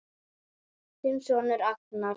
Þinn sonur Agnar.